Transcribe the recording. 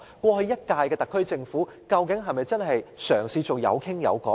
過去一屆的特區政府是否真的嘗試做到有商有量？